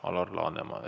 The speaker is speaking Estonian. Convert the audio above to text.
Alar Laneman.